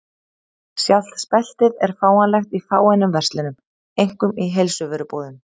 Sjálft speltið er fáanlegt í fáeinum verslunum, einkum í heilsuvörubúðum.